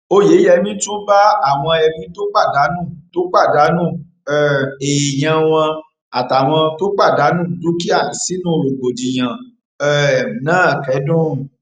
óyeyèmí tún bá àwọn ẹbí tó pàdánù tó pàdánù um èèyàn wọn àtàwọn tó pàdánù dúkìá sínú rògbòdìyàn um náà kẹdùn